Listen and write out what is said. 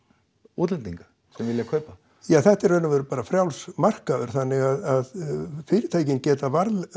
útlendinga sem vilja kaupa ja þetta er í raun bara frjáls markaður þannig að fyrirtækin geta